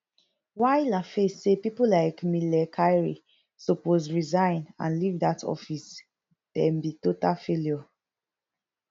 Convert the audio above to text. while laface say pipo like mele kyari suppose resign and leave dat office dem be total failure